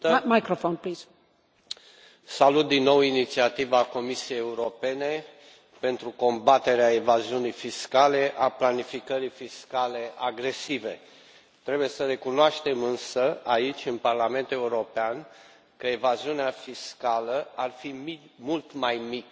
Doamnă președintă, salut din nou inițiativa Comisiei Europene pentru combaterea evaziunii fiscale, a planificării fiscale agresive. Trebuie să recunoaștem, însă, aici, în Parlamentul European, că evaziunea fiscală ar fi mult mai mică,